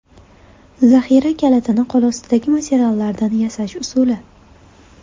Zaxira kalitini qo‘lostidagi materiallardan yasash usuli .